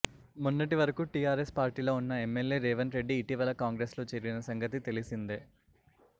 మొన్నటి వరకు టీఆరెస్ పార్టీలో ఉన్న ఎమ్మెల్యే రేవంత్ రెడీ ఇటీవల కాంగ్రెస్ లో చేరిన సంగతి తెలిసిందే